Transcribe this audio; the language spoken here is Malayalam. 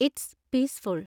it's peaceful